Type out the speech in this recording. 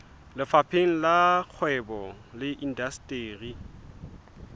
lefapheng la kgwebo le indasteri